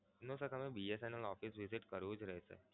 no sir તમે BSNL office visit કરવું જ રેહશે.